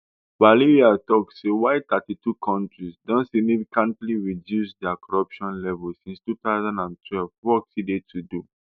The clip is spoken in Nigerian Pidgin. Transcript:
valeria tok say while thirty-two kontris don significantly reduce dia corruption levels since two thousand and twelve work still dey to do